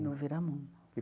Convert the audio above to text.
No Viramundo.